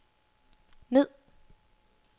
ned